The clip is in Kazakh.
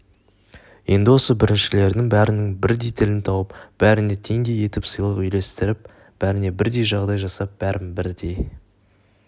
енді осы біріншілердің бәрінің бірдей тілін тауып бәріне теңдей етіп сыйлық үлестіріп бәріне бірдей жағдай жасап бәрін бірдей